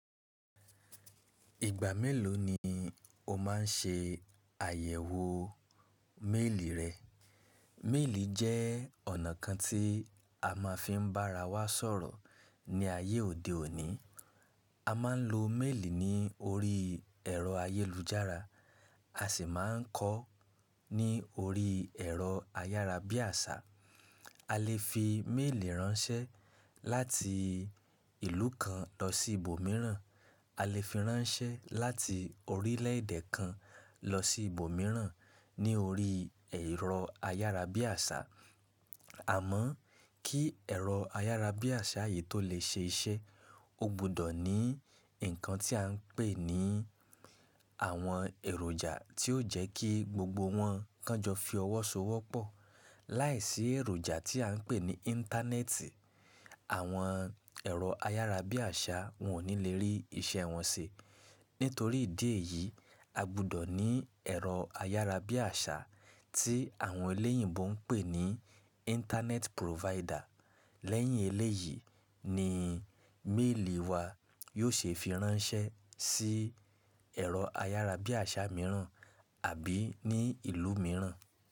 Ìgbà mélòó ni o má n ṣe àyẹ̀wò méèlì rẹ? Méèlì jẹ́ ọ̀nà kan tí a máa fi ń bára wa sọ̀rọ̀ ní ayé òde òní. A máa ń lo méèlì ní orí ẹ̀rọ ayélujára, a sì má a ń kọ ọ́ ní orí ẹ̀rọ ayárabíàṣá. A lè fi méèlì ránṣẹ́ láti ìlú kan lọ sí ibòmíràn, a lè fi ránṣẹ́ láti orílẹ̀èdè kan lọ sí ibòmíràn ní orí ẹ̀rọ ayárabíàṣá. Àmọ́ kí ẹ̀rọ ayárabíàṣá yìí tó lè ṣe iṣẹ́, ó gbọdọ̀ ní nǹkan tí à ń pè ní àwọn èròjà tí ó jẹ́ kí gbogbo wọn kánjọ fi ọwọ́ so wọ́pọ̀. Láìsí èròjà tí à ń pè ní Íńtánẹ́ẹ̀tì, àwọn ẹ̀rọ ayárabíàṣá wọn ò ní lè rí iṣẹ́ wọn ṣe. Nítorí ìdí èyí, a gbọdọ̀ ní ẹ̀rọ ayárabíàṣá tí àwọn elẹ́yìnbo ń pè ní Íńtánẹ́ẹ̀tì prófáídà. Lẹ́yìn eléyìí ni méèlì wa yóò ṣe fi ránṣẹ́ sí ẹ̀rọ ayárabíàṣá mìíràn àbí ní ìlú mìíràn.